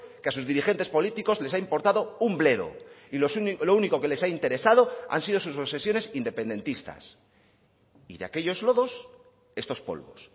que a sus dirigentes políticos les ha importado un bledo y lo único que les ha interesado han sido sus obsesiones independentistas y de aquellos lodos estos polvos